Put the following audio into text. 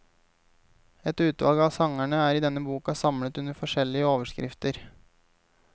Et utvalg av sangene er i denne boka samlet under forskjellige overskrifter.